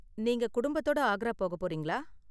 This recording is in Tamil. நீங்க குடும்பத்தோட ஆக்ரா போகப் போறீங்களா?